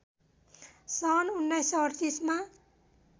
सन् १९३८मा